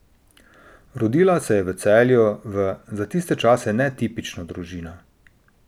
Rodila se je v Celju v, za tiste čase, netipično družino.